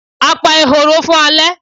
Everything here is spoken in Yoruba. A pa ehoro fun ale